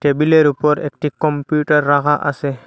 টেবিলের উপর একটি কম্পিউটার রাখা আসে।